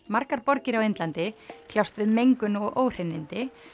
margar borgir á Indlandi kljást við mengun og óhreinindi